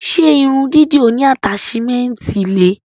Ṣe irun dídì oní ataṣimẹnti le?